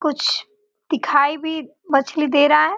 कुछ दिखाई भी मछली दे रहा है।